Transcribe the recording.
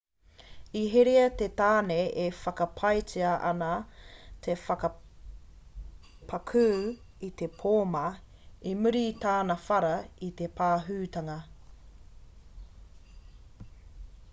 i herea te tāne e whakapaetia ana te whakapakū i te pōma i muri i tāna whara i te pahūtanga